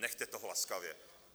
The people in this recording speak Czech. Nechte toho laskavě!